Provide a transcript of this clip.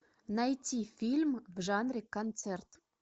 найти фильм в жанре концерт